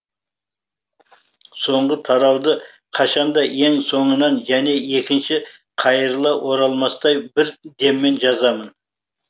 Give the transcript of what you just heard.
соңғы тарауды қашан да ең соңынан және екінші қайырыла оралмастай бір деммен жазамын